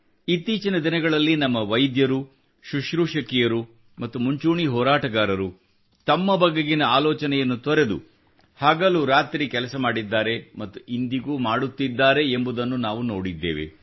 ಇತ್ತೀಚಿನ ದಿನಗಳಲ್ಲಿ ನಮ್ಮ ವೈದ್ಯರು ಸುಶ್ರೂಷಕಿಯರು ಮತ್ತು ಮುಂಚೂಣಿ ಹೋರಾಟಗಾರರು ತಮ್ಮ ಬಗೆಗಿನ ಆಲೋಚನೆಯನ್ನು ತೊರೆದು ಹಗಲು ರಾತ್ರಿ ಕೆಲಸ ಮಾಡಿದ್ದಾರೆ ಮತ್ತು ಇಂದಿಗೂ ಮಾಡುತ್ತಿದ್ದಾರೆ ಎಂಬುದನ್ನು ನಾವು ನೋಡಿದ್ದೇವೆ